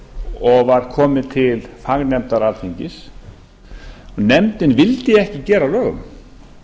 og var komið til fagnefndar alþingis og nefndin vildi ekki gera að lögum